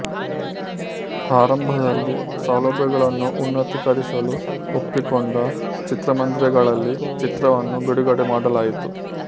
ಆರಂಭದಲ್ಲಿ ಸೌಲಭ್ಯಗಳನ್ನು ಉನ್ನತೀಕರಿಸಲು ಒಪ್ಪಿಕೊಂಡ ಚಿತ್ರಮಂದಿರಗಳಲ್ಲಿ ಚಿತ್ರವನ್ನು ಬಿಡುಗಡೆ ಮಾಡಲಾಯಿತು